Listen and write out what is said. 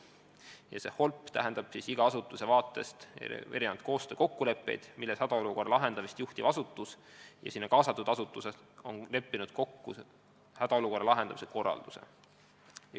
HOLP näeb ette iga asutuse eripärast tulenevaid koostöökokkuleppeid, milles hädaolukorra lahendamist juhtiv asutus ja kaasatud asutused on leppinud kokku hädaolukorra lahendamise korralduse.